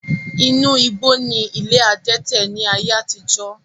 Inú igbó ni ilé adẹ́tẹ̀ ni ayé àtijọ́